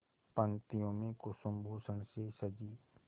पंक्तियों में कुसुमभूषण से सजी